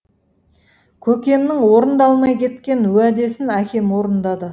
көкемнің орындалмай кеткен уәдесін әкем орындады